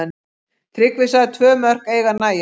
Tryggvi sagði tvö mörk eiga að nægja.